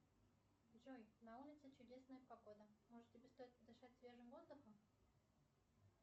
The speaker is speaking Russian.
джой на улице чудесная погода может тебе стоит подышать свежим воздухом